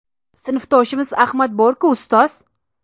Sinfdoshimiz Ahmad bor-ku, ustoz.